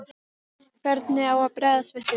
Hvernig á að bregðast við því?